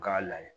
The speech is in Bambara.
K'a layɛ